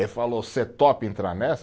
Ele falou, você topa entrar nessa?